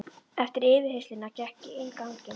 Eftir yfirheyrsluna gekk ég inn ganginn.